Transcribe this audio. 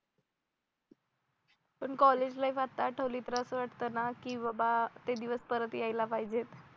पण college life आत्ता आठवली तर असं वाटतं ना की बाबा ते दिवस परत यायला पाहिजेत